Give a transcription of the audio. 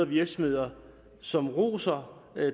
virksomheder som roser